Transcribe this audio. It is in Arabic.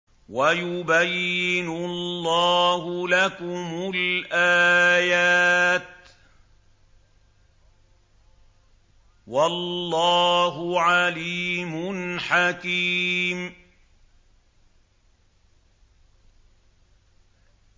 وَيُبَيِّنُ اللَّهُ لَكُمُ الْآيَاتِ ۚ وَاللَّهُ عَلِيمٌ حَكِيمٌ